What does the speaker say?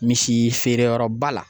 Misi feereyɔrɔba la.